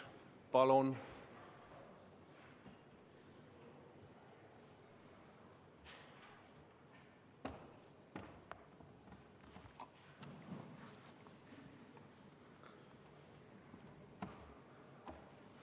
Palun!